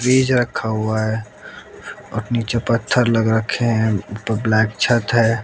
Fridge रखा हुआ है अपनी जो पत्थर लग रखे है ऊपर ब्लैक छत है।